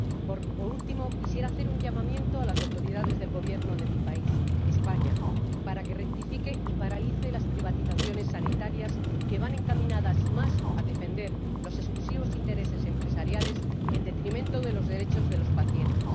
Por último, quisiera hacer un llamamiento a las autoridades del Gobierno de mi país ―España― para que rectifiquen y paralicen las privatizaciones sanitarias, que van encaminadas a defender los exclusivos intereses empresariales, en detrimento de los derechos de los pacientes.